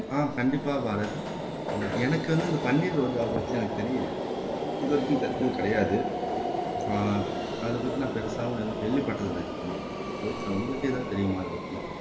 ஆஹ் கண்டிப்பா பாரத் எனக்கு வந்து இந்த பன்னீர் ரோஜாவை பத்தி எனக்கு தெரியலை இது வரைக்கும் தெரிஞ்சது கிடையாது ஆஹ் அதை பத்தி நான் பெருசாவும் எதும் கேள்விப்பட்டது இல்ல அதிகமா பவித்ரா உங்களுக்கு எதாவது தெரியுமா இதை பத்தி